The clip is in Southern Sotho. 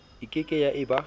e keke ya e ba